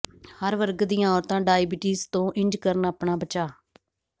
ਹਰ ਵਰਗ ਦੀਆਂ ਔਰਤਾਂ ਡਾਇਬਟੀਜ਼ ਤੋਂ ਇੰਝ ਕਰਨ ਆਪਣਾ ਬਚਾਅ